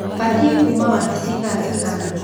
batĩe kuuma wabici thaa cigana